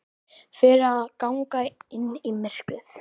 Fyrir að ganga inn í myrkrið.